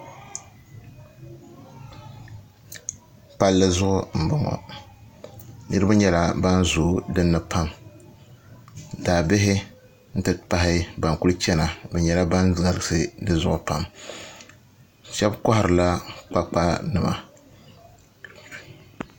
Palli duɣu n boŋo niraba nyɛla ban zooi dinni pam daabihi n ti pahi ban kuli chɛna bi nyɛla ban galisi dizuɣu pam shaba kiharila kpakpa nima